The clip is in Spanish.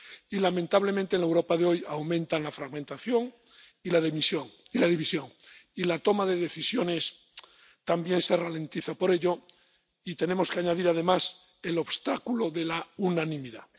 Y, lamentablemente, en la Europa de hoy aumentan la fragmentación y la división, y la toma de decisiones también se ralentiza por ello, y tenemos que añadir, además, el obstáculo de la unanimidad.